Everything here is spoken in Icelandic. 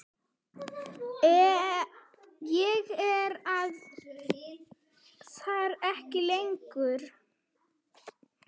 Ég var þar ekki lengi.